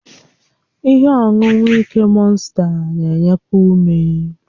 Ihe ọṅụṅụ ike mọnsta na-enyekwu ume.